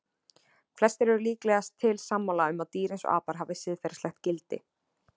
Flestir eru líkast til sammála um að dýr eins og apar hafi siðferðilegt gildi.